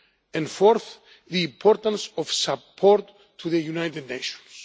and fourth, the importance of support to the United Nations.